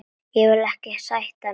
Vil ekkert sætt núna.